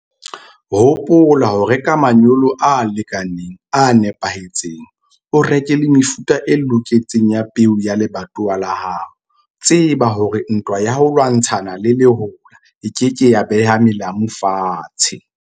Hopola ho reka manyolo a lekaneng, a nepahetseng. O reke le mefuta e loketseng ya peo ya lebatowa la hao. Tseba hore ntwa ya ho lwantshana le lehola e ke ke ya beha melamu fatshe.